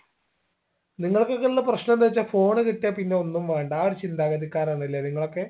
നിങ്ങൾക്കൊക്കെ ഉള്ള പ്രശ്നം എന്തെന്ന് വെച്ചാ phone കിട്ടിയാ പിന്നെ ഒന്നും വേണ്ടാ ആ ഒരു ചിന്താഗതിക്കാരാണല്ലേ നിങ്ങളൊക്കെ